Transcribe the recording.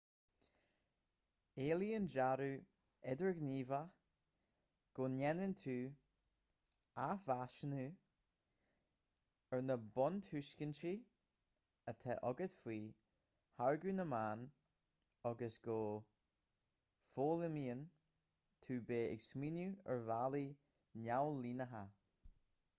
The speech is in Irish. éilíonn dearadh idirghníomhach go ndéanann tú athmheasúnú ar na buntuiscintí atá agat faoi tháirgeadh na meán agus go bhfoghlaimíonn tú beith ag smaoineamh ar bhealaí neamhlíneacha